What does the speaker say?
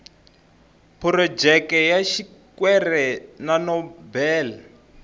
phurojeke ya xikwere xa nobel